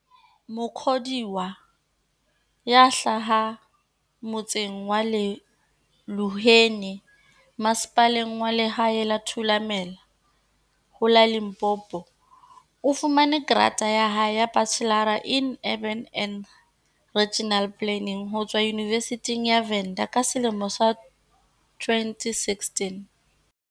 Mukhodiwa, ya hlahang mo tseng wa Luheni Masepaleng wa Lehae wa Thulamela ho la Limpopo, o fumane grata ya hae ya Bachelor in Urban and Regional Planning ho tswa Yunivesithing ya Venda ka selemo sa 2016.